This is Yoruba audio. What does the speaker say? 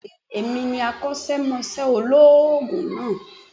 Bẹ́ẹ̀ni èmi ní akósémosé olóòògùn náà